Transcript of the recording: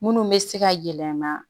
Munnu bɛ se ka yɛlɛma